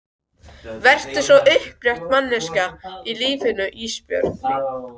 Vertu svo upprétt manneskja í lífinu Ísbjörg mín.